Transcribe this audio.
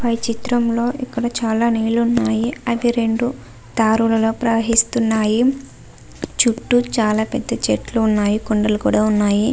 పై చిత్రం లో ఇక్కడ చాల నీళ్ళు ఉన్నాయి అవి రెండు దారులలో ప్రవహిస్తున్నాయి చుట్టూ చాలా పెద్ధ చెట్లు ఉన్నాయి కొండలు కూడా ఉన్నాయి.